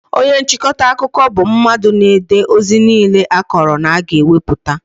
Onye nchịkọta akụkọ bụ mmadụ na-ede ozi niile a kọrọ na a ga-ewepụta